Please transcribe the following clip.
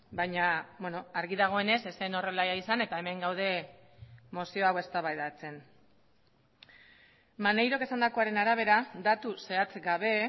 baina argi dagoenez ez zen horrela izan eta hemen gaude mozio hau eztabaidatzen maneirok esandakoaren arabera datu zehatz gabe